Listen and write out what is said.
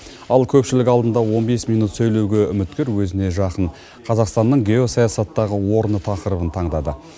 ал көпшілік алдында он бес минут сөйлеуге үміткер өзіне жақын қазақстанның геосаясаттағы орны тақырыбын таңдады